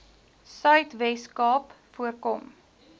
suidwes kaap voorkom